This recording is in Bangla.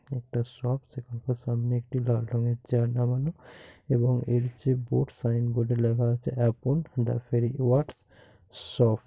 একটা শপ সেখানকার সামনে একটি লাল রঙ এর চেয়ার লাগানো এবং এর যে বোর্ড সাইনবোর্ডে লেখা আছে আপন.দা. ফেরিওয়ার্কস শপ ।